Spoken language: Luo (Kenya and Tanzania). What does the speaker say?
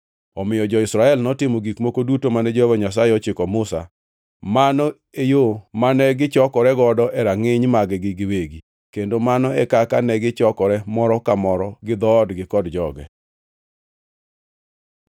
Omiyo jo-Israel notimo gik moko duto mane Jehova Nyasaye ochiko Musa; mano e yo mane gichokore godo e rangʼiny mag-gi giwegi, kendo mano e kaka negichokore, moro ka moro gi dhoodgi kod joge.